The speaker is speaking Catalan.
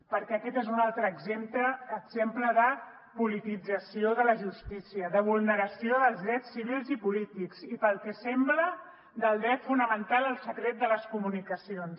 perquè aquest és un altre exemple de politització de la justícia de vulneració dels drets civils i polítics i pel que sembla del dret fonamental al secret de les comunicacions